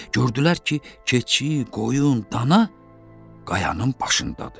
Gördülər ki, keçi, qoyun, dana qayanın başındadır.